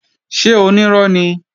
Ṣé onírọ́ ni?